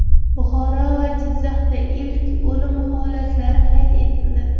Buxoro va Jizzaxda ilk o‘lim holatlari qayd etildi.